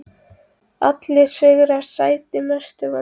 Allir sigrar sætir Mestu vonbrigði?